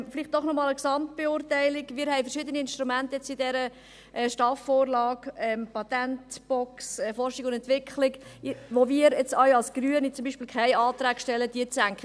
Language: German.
Vielleicht noch einmal eine Gesamtbeurteilung: Wir haben verschiedene Instrumente in dieser STAF-Vorlage, wie die Patentbox Forschung und Entwicklung, zu denen wir Grüne jetzt auch keine Anträge stellen, diese zu senken.